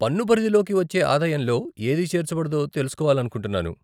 పన్ను పరిధిలోకి వచ్చే ఆదాయంలో ఏది చేర్చబడదో తెలుసుకోవాలనుకుంటున్నాను.